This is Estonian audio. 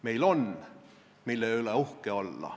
Meil on, mille üle olla uhke.